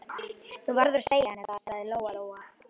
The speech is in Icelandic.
Þú verður að segja henni það, sagði Lóa-Lóa.